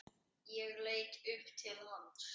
Ég leit upp til hans.